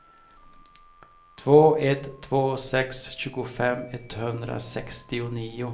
två ett två sex tjugofem etthundrasextionio